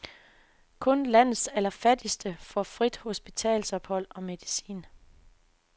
Kun landets allerfattigste får frit hospitalsophold og medicin.